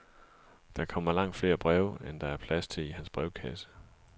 Der kommer langt flere breve, end der er plads til i hans brevkasse.